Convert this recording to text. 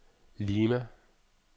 Lima